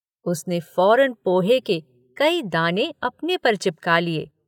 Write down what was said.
उसने फौरन पोहे के कई दाने अपने पर चिपका लिए।